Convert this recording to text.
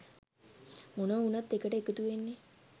මොනවා වුනත් එකට එකතු වෙන්නේ